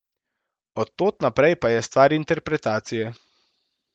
Od tod naprej pa je stvar interpretacije.